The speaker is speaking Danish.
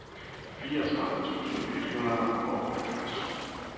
fireogtredive tusind et hundrede og halvfjerds